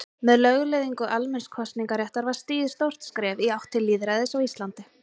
Með lögleiðingu almenns kosningaréttar var stigið stórt skref í átt til lýðræðis á Íslandi.